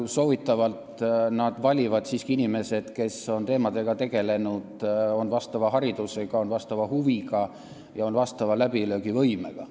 Soovitatavalt valivad nad siiski inimesed, kes on nende teemadega tegelenud, on sobiva haridusega, vastavate huvidega ja läbilöögivõimega.